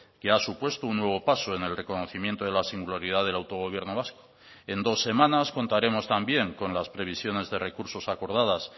que ha supuesto un nuevo paso en el reconocimiento de la singularidad del autogobierno vasco en dos semanas contaremos también con las previsiones de recursos acordadas